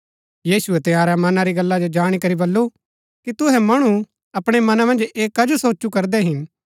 यीशुऐ तंयारै मना री गल्ला जो जाणी करी बल्लू कि तुहै मणु अपणै मना मन्ज ऐह कजो सोचु करदै हिन